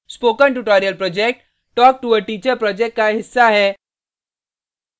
spoken tutorial project talktoa teacher project का हिस्सा है